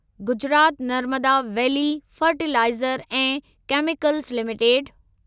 Gujarat Narmada valley fertiliser ऐं chemicals limited